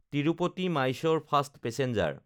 তিৰুপতি–মাইছ'ৰ fast passenger